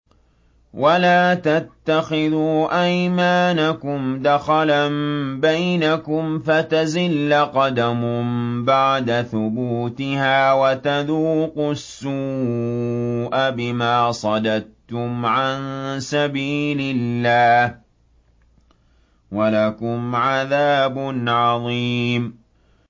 وَلَا تَتَّخِذُوا أَيْمَانَكُمْ دَخَلًا بَيْنَكُمْ فَتَزِلَّ قَدَمٌ بَعْدَ ثُبُوتِهَا وَتَذُوقُوا السُّوءَ بِمَا صَدَدتُّمْ عَن سَبِيلِ اللَّهِ ۖ وَلَكُمْ عَذَابٌ عَظِيمٌ